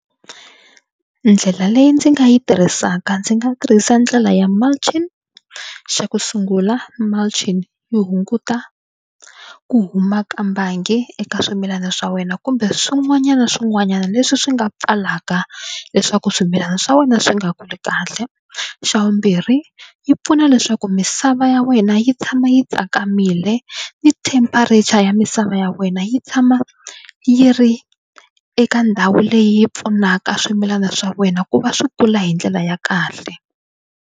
Ndlela leyi ndzi nga yi tirhisaka ndzi nga tirhisa ndlela ya mulching. Xa ku sungula mulching yi hunguta ku huma ka mbangi eka swimilana swa wena kumbe swin'wanyana swin'wanyana leswi swi nga pfalaka leswaku swimilana swa wena swi nga kuli kahle. Xa vumbirhi yi pfuna leswaku misava ya wena yi tshama yi tsakamile ni temperature ya misava ya wena yi tshama yi ri eka ndhawu leyi pfunaka swimilana swa wena ku va swi kula hi ndlela ya kahle.